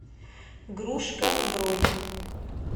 грушка бронь